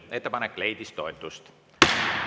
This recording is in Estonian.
Ettepanek leidis toetust.